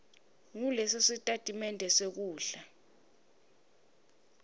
nguleso nalesositatimende senkhundla